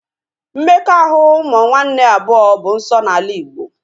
Mmekọahụ ụmụ nwanne abụọ bụ nsọ n'ala igbo